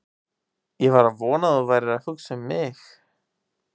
Ég var að vona að þú værir að hugsa um mig!